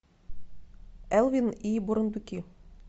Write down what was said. элвин и бурундуки